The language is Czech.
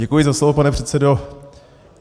Děkuji za slovo, pane předsedo.